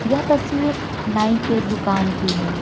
यह तस्वीर नाई के दुकान की है।